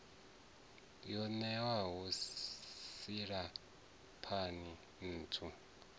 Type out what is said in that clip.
yo ṋewaho silahapani i thuthiwa